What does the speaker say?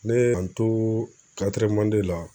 Ne ye n to la